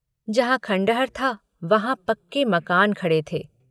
जहाँ खंडहर था वहाँ पक्के मकान खड़े थे।